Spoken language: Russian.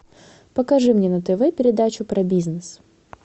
покажи мне на тв передачу про бизнес